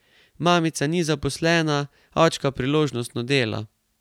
Mamica ni zaposlena, očka priložnostno dela.